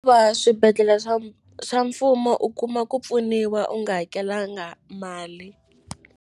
swibedhlela swa swa mfumo u kuma ku pfuniwa u nga hakelanga mali.